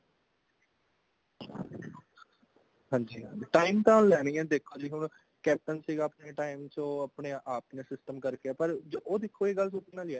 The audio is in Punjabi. ਹਾਂਜੀ ਹਾਂ time ਤਾਂ ਲੈਣਗੀਆਂ ਦੇਖੋ ਜੀ ਹੁਣ ਕੇਪਟਨ ਸੀਗਾ ਆਪਣੇ time ਚ ਉਹ ਆਪਣੇ ਆਪ ਚ system ਕਰ ਗਿਆ ਪਰ ਉਹ ਦੇਖੋ ਜੀ ਇੱਕ ਗੱਲ ਦੇਖਣ ਆਲੀ ਹੈ